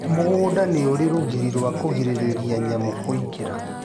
Mũgũnda nĩũrĩ rũgiri rwa kũgirĩrĩria nyamũ kũingĩra